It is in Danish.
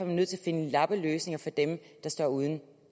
vi nødt til at finde lappeløsninger for dem der står uden